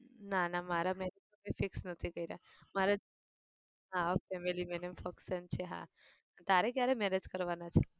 નાં નાં મારા marriage હજી fix નથી કર્યા મારે હા family function છે હા. તારે કયારે marriage કરવાના છે?